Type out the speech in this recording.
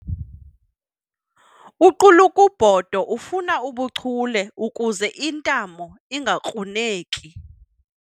Uqulukubhodo ufuna ubuchule ukuze iintamo ingakruneki.